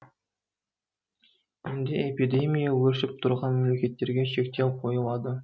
енді эпидемия өршіп тұрған мемлекеттерге шектеу қойылады